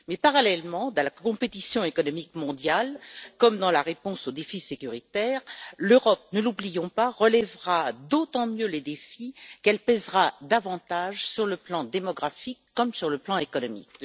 Mais parallèlement, dans la compétition économique mondiale comme dans la réponse aux défis sécuritaires, l'Europe ne l'oublions pas relèvera d'autant mieux les défis qu'elle pèsera davantage sur le plan démographique comme sur le plan économique.